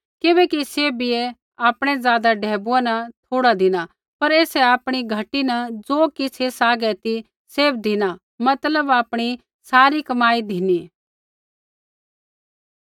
किबैकि सैभियै आपणै ज़ादा ढैबुऐ न थोड़ा धिना पर ऐसै आपणी घटी न ज़ो किछ़ ऐसा हागै ती सैभ धिना मतलब आपणी सारी कमाई धिनी